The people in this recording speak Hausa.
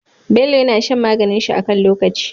Bello yAna shan maganin shi a kan lokaci